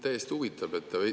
Täiesti huvitav!